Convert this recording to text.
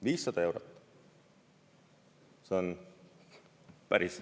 500 eurot!